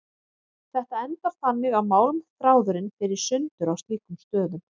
Þetta endar þannig að málmþráðurinn fer í sundur á slíkum stöðum.